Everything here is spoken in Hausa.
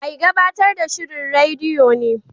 Mai gabatar da shirin rediyo ne.